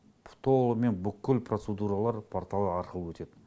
толығымен бүкіл процедуралар порталы арқылы өтеді